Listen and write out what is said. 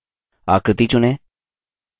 आकृति चुनें